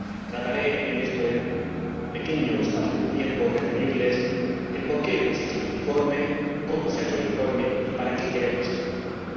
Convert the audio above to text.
Trataré, en este pequeño espacio de tiempo, de referirles por qué hemos hecho este informe, cómo se ha hecho el informe y para qué queremos este informe.